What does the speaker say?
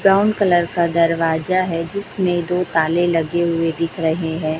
Brown colour का दरवाजा है जिसने दो ताले लगे हुए दिख रहे हैं।